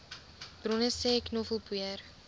bronne sê knoffelpoeier